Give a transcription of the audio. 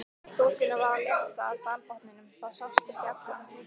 Þokunni var að létta af dalbotninum, það sást til fjalla.